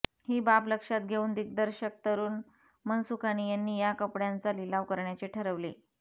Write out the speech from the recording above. ही बाब लक्षात घेऊन दिग्दर्शक तरूण मनसुखानी यांनी या कपड्यांचा लिलाव करण्याचे ठरवले